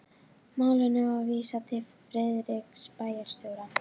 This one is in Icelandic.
Málinu var vísað til Friðriks bæjarstjóra.